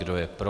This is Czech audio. Kdo je pro?